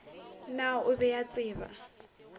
naa o be o tseba